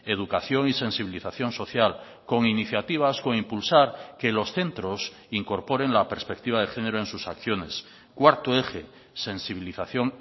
educación y sensibilización social con iniciativas con impulsar que los centros incorporen la perspectiva de género en sus acciones cuarto eje sensibilización